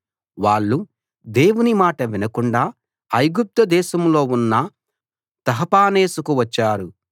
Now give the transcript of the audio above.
వాళ్ళు దేవుని మాట వినకుండా ఐగుప్తుదేశంలో ఉన్న తహపనేసుకు వచ్చారు